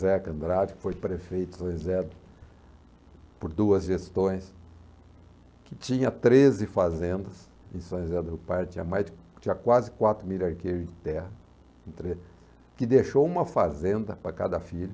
Zéca Andrade, que foi prefeito de São José por duas gestões, que tinha treze fazendas em São José do Pardo, tinha mais, tinha quase quatro mil arqueires de terra, que deixou uma fazenda para cada filho,